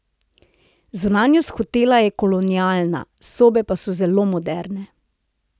Zunanjost hotela je kolonialna, sobe pa so zelo moderne.